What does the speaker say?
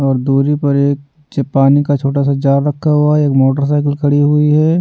और दूरी पर एक च-पानी का छोटा सा जार रखा हुआ है एक मोटरसाइकिल खड़ी हुई है।